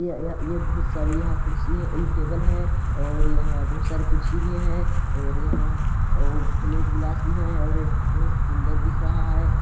य -य यहाँ ये बहुत सारी कुर्सी है एंड टेबल है और यहाँ बहुत सारे कुर्सी भी है और यहाँ प्लेट ग्लास भी है और ये बहुत सुंदर दिख रहा हैं ।